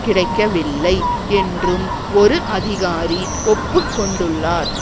கிடைக்கவில்லை என்றும் ஒரு அதிகாரி ஒப்புக்கொண்டுள்ளார்